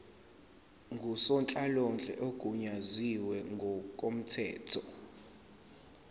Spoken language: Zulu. ngusonhlalonhle ogunyaziwe ngokomthetho